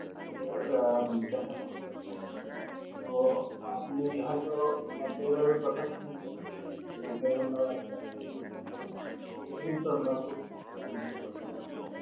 এটা আহ দেখানো হতো তো আপনি হয়তো কথা শুনেছেন যে নাম একটা civic ছিল ঐটা কিন্তু আমরা খুব উপলব্ধি করতাম আরকি